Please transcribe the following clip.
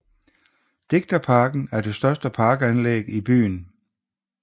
Digterparken er det største parkanlæg i byen